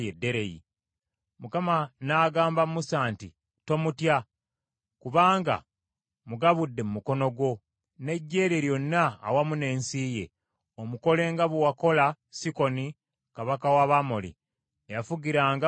Mukama n’agamba Musa nti, “Tomutya; kubanga mugabudde mu mukono gwo, n’eggye lye lyonna awamu n’ensi ye; omukole nga bwe wakola Sikoni kabaka w’Abamoli eyafugiranga mu Kesuboni.”